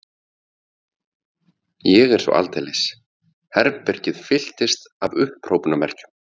Ég er svo aldeilis. Herbergið fylltist af upphrópunarmerkjum.